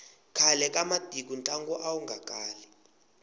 khale ka matiko ntlangu awu nga kali